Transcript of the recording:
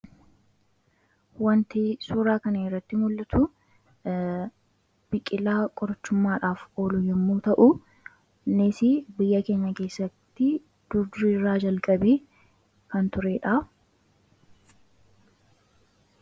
Wanti suuraa kanarratti mul'atu, biqilaa qorichumaadhaaf oolu yommuu ta'u, innisi biyya keenya keessatti durduriirraa jalqabee kan turedha.